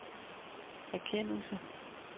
erkendelse